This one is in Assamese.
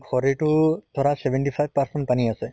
শৰীৰটো ধৰা seventy five percent পানী আছে